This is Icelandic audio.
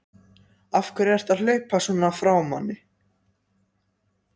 AF HVERJU ERTU AÐ HLAUPA SVONA FRÁ MANNI!